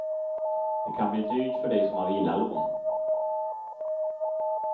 Det kan bli dyrt för dig som har villalån.